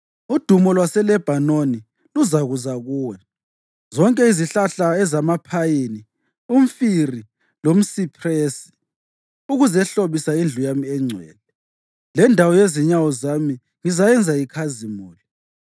Udumo lwaseLebhanoni luzakuza kuwe; zonke izihlahla ezamaphayini, umfiri lomsiphresi, ukuzehlobisa indlu yami engcwele; lendawo yezinyawo zami ngizayenza ikhazimule.